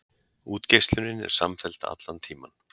Útgeislunin er samfelld allan tímann.